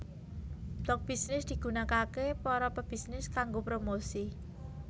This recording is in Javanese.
Blog Bisnis digunakaké para pebisnis kanggo promosi